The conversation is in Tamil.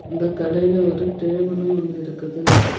இந்த கடையில ஒரு டேபிளு ஒன்னு இருக்குது.